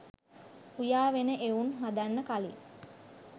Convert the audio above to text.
උයා වෙන එවුන් හදන්න කලින්